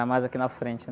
mais aqui na frente